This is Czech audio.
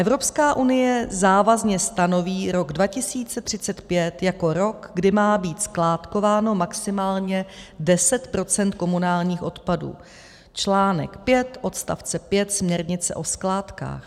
Evropská unie závazně stanoví rok 2035 jako rok, kdy má být skládkováno maximálně 10 % komunálních odpadů, článek 5 odstavce 5 směrnice o skládkách.